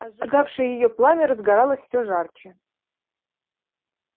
а сжигавшее её пламя разгоралось все жарче